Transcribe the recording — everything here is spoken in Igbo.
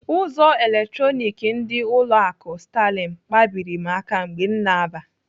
Ụzọ eletronik ndị ụlọ akụ Sterling kpabiri m aka mgbe m na-aba.